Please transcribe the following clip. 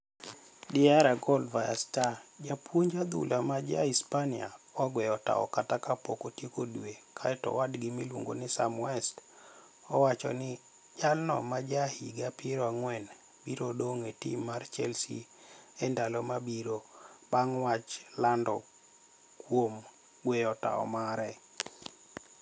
(Diaria Gol via Star)Japuonij adhula ma ja Uhispaniia ogweyo tao kata kapok otieko dwe kae to owadgi miluonigo nii Saam West owacho nii jalno ma ja higa piero anigweni biro donig e tim mar chelse enidalo mabiro banig wach lanidor kuom gweyo tao mare.